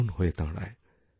কারণহয়ে দাঁড়ায়